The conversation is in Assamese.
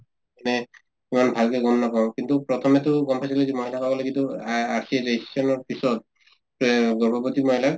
এনে ইমান ভালকে গম নাপাওঁ কিন্তু প্ৰথমেতো গম পাইছিলো যে মহিলে তো আহ RCS registration ৰ পিছত এহ গৰ্ভৱতী মহিলাক